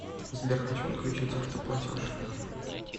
сбер хочу отключить авто платеж